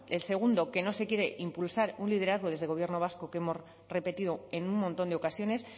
el segundo que no se quiere impulsar un liderazgo desde gobierno vasco que hemos repetido en un montón de ocasiones